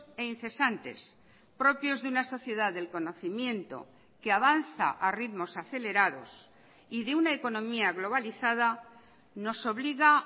e incesantes propios de una sociedad del conocimiento que avanza a ritmos acelerados y de una economía globalizada nos obliga